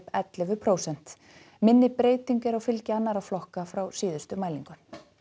ellefu prósent minni breyting er á fylgi annarra flokka frá síðustu mælingu